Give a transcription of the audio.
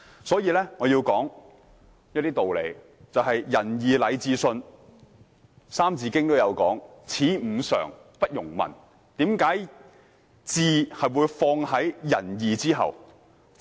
《三字經》說"曰仁義，禮智信，此五常，不容紊"，為何"智"會放在"仁義"之後呢？